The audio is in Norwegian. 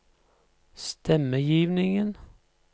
stemmegivningen